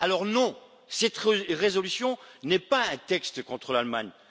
Non, cette résolution n'est pas un texte contre l'Allemagne.